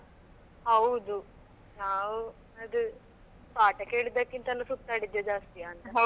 ಹೌದು ನಾವು ಅದು ಪಾಠ ಕೇಳಿದ್ದಕ್ಕಿಂತನೂ ಸುತ್ತಾಡಿದ್ದೆ ಜಾಸ್ತಿಯ ಅಂತ ಅಲ್ಲಾ.